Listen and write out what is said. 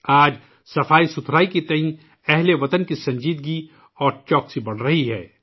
آج صفائی کے تئیں ہم وطنوں کی سنجیدگی اور احتیاط میں اضافہ ہو رہا ہے